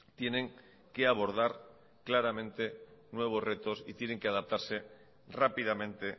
tienen que abordar claramente nuevos retos y tienen que adaptarse rápidamente